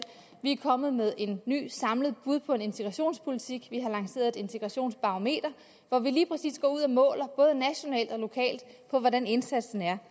vi er kommet med et nyt samlet bud på en integrationspolitik vi har lanceret et integrationsbarometer hvor vi lige præcis går ud og måler både nationalt og lokalt på hvordan indsatsen er